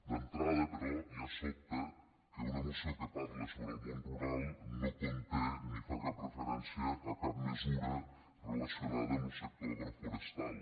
d’entrada però ja sobta que una moció que parla sobre el món rural no contingui ni faci cap referència a cap mesura relacionada amb lo sector agroforestal